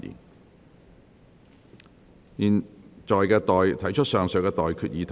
我現在向各位提出上述待決議題。